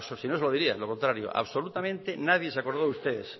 si no se lo diría lo contrario absolutamente nadie se acordó de ustedes